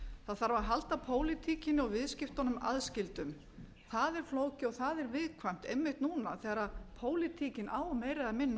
það þarf að halda pólitíkinni og viðskiptunum aðskildum það er flókið og það er viðkvæmt einmitt núna þegar pólitíkin á meira eða minna